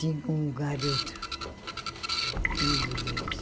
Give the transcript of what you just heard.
Tinha um garoto, filho deles.